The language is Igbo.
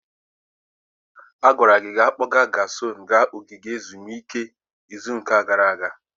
A gwara gị ka ị kpọga Jason gaa ogige ezumike izu ụka gara aga.